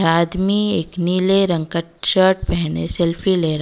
आदमी एक नीले रंग का शर्ट पहने सेल्फी ले र--